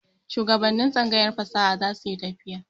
Shuwagabannin tsangayar fasaha za su yi tafiya.